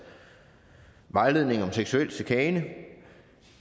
vejledning om seksuel chikane